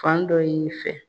Fan dɔ y'i fɛ